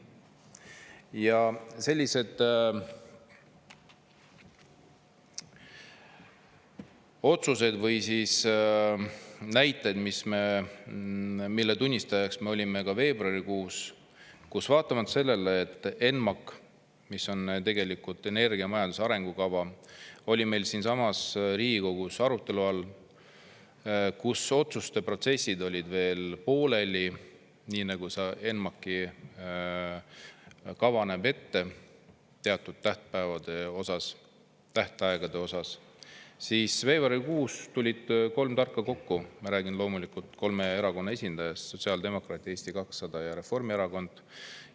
Ja sellised otsused või siis näited, mille tunnistajaks me olime ka veebruarikuus, kus vaatamata sellele, et ENMAK, mis on tegelikult energiamajanduse arengukava, oli meil siinsamas Riigikogus arutelu all, kus otsuste protsessid olid veel pooleli, nii nagu ENMAK-i kava näeb ette teatud tähtpäevade osas, tähtaegade osas, siis veebruarikuus tulid kolm tarka kokku, ma räägin loomulikult kolme erakonna esindajast: sotsiaaldemokraat, Eesti 200 ja Reformierakond.